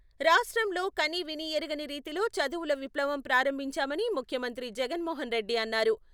రాష్ట్రంలో కనీవినీ ఎరుగని రీతిలో చదువుల విప్లవం ప్రారంభించామని ముఖ్యమంత్రి జగన్మోహన్ రెడ్డి అన్నారు.